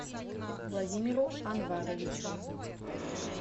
владимиру анваровичу